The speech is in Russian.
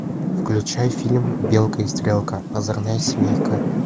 включай фильм белка и стрелка озорная семейка